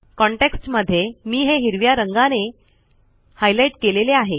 context मध्ये मी हे हिरव्या रंगाने हायलाईट केलेले आहे